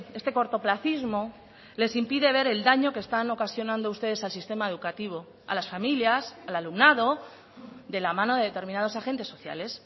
este cortoplacismo les impide ver el daño que están ocasionando ustedes al sistema educativo a las familias al alumnado de la mano de determinados agentes sociales